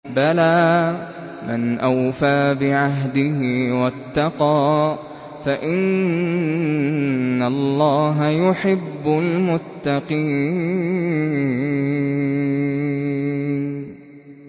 بَلَىٰ مَنْ أَوْفَىٰ بِعَهْدِهِ وَاتَّقَىٰ فَإِنَّ اللَّهَ يُحِبُّ الْمُتَّقِينَ